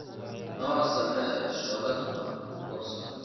noo samee shoolad aan ku karsano.